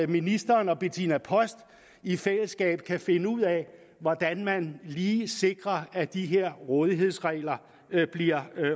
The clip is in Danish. ministeren og betinna post i fællesskab kan finde ud af hvordan man lige sikrer at de her rådighedsregler bliver